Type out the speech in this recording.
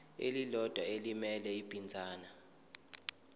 elilodwa elimele ibinzana